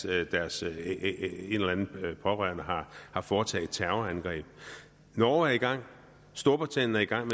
af deres pårørende har har foretaget et terrorangreb norge er i gang storbritannien er i gang